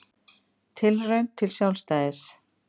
Tilraun til sjálfstæðis